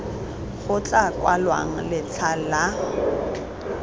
go tla kwalwang letlha la